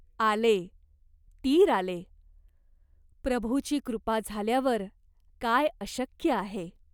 आले, तीर आले. प्रभूची कृपा झाल्यावर काय अशक्य आहे.